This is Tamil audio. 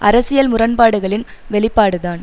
அரசியல் முரண்பாடுகளின் வெளிப்பாடுதான்